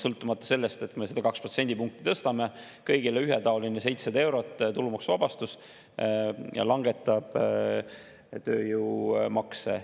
Sõltumata sellest, et me seda 2 protsendipunkti tõstame, on kõigile ühetaoline tulumaksuvabastus 700 eurot ja langevad tööjõumaksud.